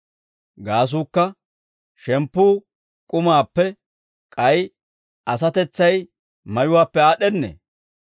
«Gaasuukka, shemppuu k'umaappe, k'ay asatetsay mayuwaappe aad'd'ennee?